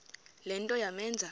le nto yamenza